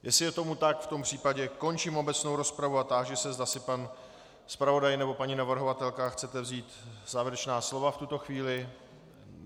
Jestli je tomu tak, v tom případě končím obecnou rozpravu a táži se, zda si pan zpravodaj nebo paní navrhovatelka chtějí vzít závěrečná slova v tuto chvíli.